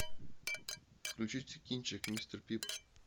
включите кинчик мистер пип